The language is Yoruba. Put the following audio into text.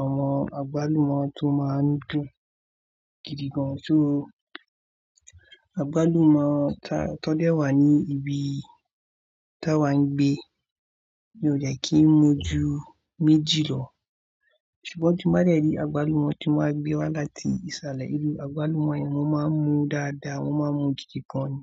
àwọn àgbálùmọ́ tó máa ń dùn gidi gan. So àgbálùmọ́ ta tó dẹ́ wà ní ibi tá wa ń gbé, mi ò dẹ́ kí ń mu ju méjì lọ. Ṣùgbọ́n tí mo bá rí àgbálùmọ́ tí wọ́n máa ń gbé wá láti ìsàlẹ̀, irú àgbálùmọ́ yẹn ni mọ́ máa ń mu dáadáa, mọ́ máa ń mu gidi gan ni.